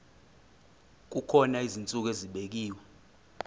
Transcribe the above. kukhona izinsuku ezibekiwe